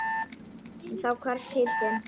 En þá hvarf síldin.